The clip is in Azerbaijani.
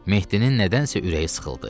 Mehdinin nədənsə ürəyi sıxıldı.